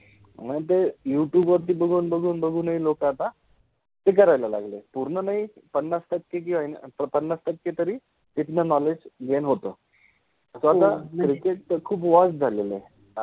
मनजे YouTube {you- tube} वर बघुन बघुन बघुन हि लोक आता प्रगति करायला लागले, पुर्ण नाहि पण पन्नास टक्के जो आहे न पन्नास टक्के तरि तिथन नॉलेज {knowledge} गेन {gain} होत